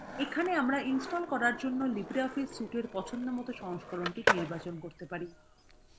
এখানে আমরা install করার জন্য libreoffice suite এর পছন্দমত সংস্করণটি নির্বাচন করতে পারি